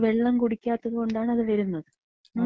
വെള്ളം കുടിക്കാത്തതോണ്ടാണ് അത് വര്ന്നത്. മ്.